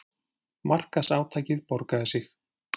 Markaðsátakið borgaði sig